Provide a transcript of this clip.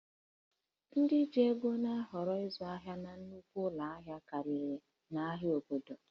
Ndị ji ego na-ahọrọ ịzụ ahịa na nnukwu ụlọ ahịa karịa n'ahịa obodo